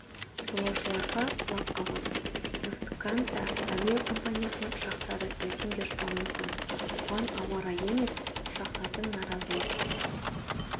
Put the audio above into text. жолаушыларға құлаққағыс люфтганза әуе компаниясының ұшақтары ертең де ұшпауы мүмкін бұған ауа райы емес ұшқыштардың наразылық